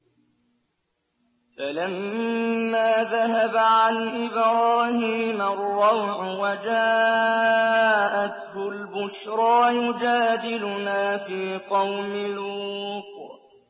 فَلَمَّا ذَهَبَ عَنْ إِبْرَاهِيمَ الرَّوْعُ وَجَاءَتْهُ الْبُشْرَىٰ يُجَادِلُنَا فِي قَوْمِ لُوطٍ